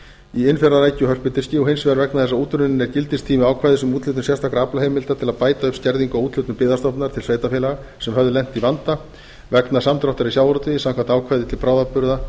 í innfjarðarækju og hörpudiski og hins vegar vegna þess að útrunninn er gildistími ákvæðis um úthlutun sérstakra aflaheimilda til að bæta upp skerðingu á úthlutun byggðastofnunar til sveitarfélaga sem höfðu lent í vanda vegna samdráttar í sjávarútvegi samkvæmt ákvæði til bráðabirgða